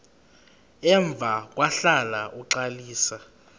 emva kwahlala uxalisa